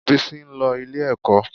Bísí ń lọ ilé-ẹ̀kọ́